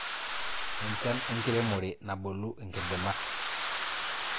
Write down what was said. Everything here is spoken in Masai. enchan enkiremore nabolu inkidimat